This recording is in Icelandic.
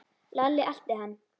Lalli elti hann.